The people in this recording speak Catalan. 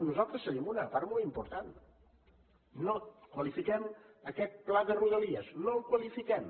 nosaltres cedim una part molt important no qualifiquem aquest pla de rodalies no el qualifiquem